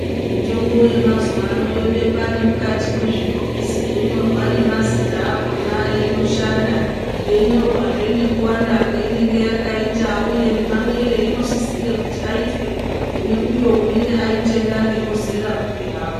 Imtombo yemazuwa ano yobekwa nemukati mwezvibhokisi yonyorwa nemazita akhona einoshanda yeinyorwazve nekuwanda kwainenge yakaita uye nemamwire einosisire kuti aitwe kuneuyo unenge waitenga ngemuzera upi hawo.